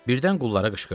Birdən qullara qışqırdı.